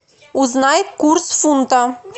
узнай курс фунта